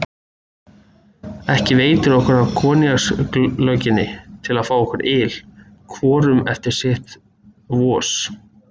Ekki veitir okkur af koníakslögginni til að fá í okkur yl, hvorum eftir sitt vos.